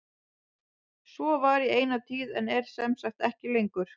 Svo var í eina tíð en er sem sagt ekki lengur.